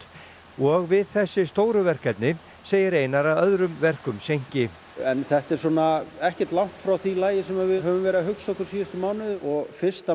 og við þessi stóru verkefni segir Einar að öðrum verkum seinki en þetta er svona ekkert langt frá því lagi sem við höfum verið að hugsa okkur síðustu mánuði og fyrsta